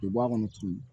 U bɛ bɔ a kɔnɔ turu